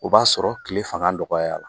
O b'a sɔrɔ kile fanga dɔgɔyara